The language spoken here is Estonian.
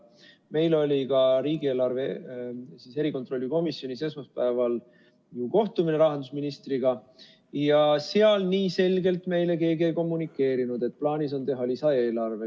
Meil oli ka riigieelarve kontrolli erikomisjonis esmaspäeval kohtumine rahandusministriga ja seal nii selgelt meile keegi ei kommunikeerinud, et plaanis on teha lisaeelarve.